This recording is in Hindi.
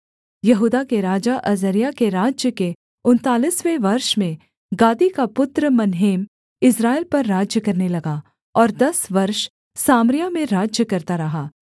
यहूदा के राजा अजर्याह के राज्य के उनतालीसवें वर्ष में गादी का पुत्र मनहेम इस्राएल पर राज्य करने लगा और दस वर्ष सामरिया में राज्य करता रहा